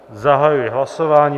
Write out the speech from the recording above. Zahajuji hlasování.